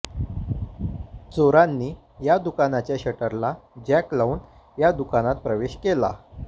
चोरांनी या दुकानाच्या शटरला जॅक लावून या दुकानात प्रवेश केला